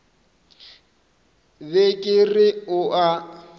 be ke re o a